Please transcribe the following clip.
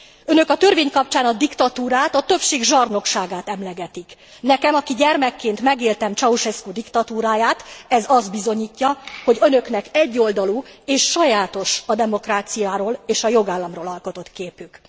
Önök a törvény kapcsán a diktatúrát, a többség zsarnokságát emlegetik. Nekem, aki gyermekként megélte Ceaușescu diktatúráját ez azt bizonyítja, hogy Önöknek egyoldalú és sajátos a demokráciáról és a jogállamokról alkotott képük.